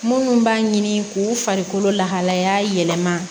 Munnu b'a ɲini k'u farikolo lahalaya yɛlɛma